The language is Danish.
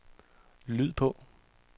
lyd på